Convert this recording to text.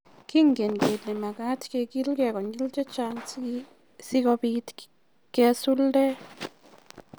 "Kengen kele magat kegilge konyil checha'ng si kobit kesuldee"